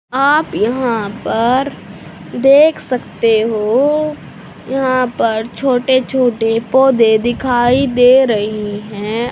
आप यहां पर देख सकते हो यहां पर छोटे छोटे पौधे दिखाई दे रही हैं।